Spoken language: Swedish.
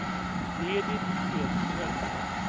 Edit Edström